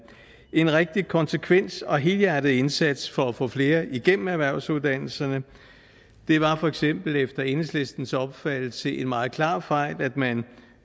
en rigtig konsekvent og helhjertet indsats for at få flere igennem erhvervsuddannelserne det var for eksempel efter enhedslistens opfattelse en meget klar fejl at man